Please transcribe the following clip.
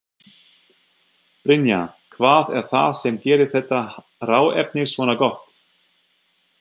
Brynja: Hvað er það sem gerir þetta hráefni svona gott?